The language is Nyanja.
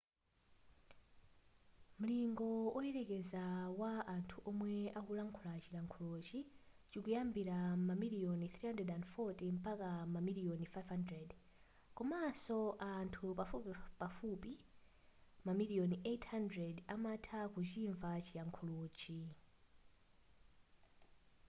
mulingo woyerekeza wa anthu omwe akulankhula chilankhulochi chikuyambira mamiliyoni 340 mpaka mamiliyoni 500 komanso anthu pafupifupi mamiliyoni 800 amatha kuchimva chilankhulochi